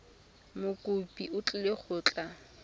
mokopi o tlile go tla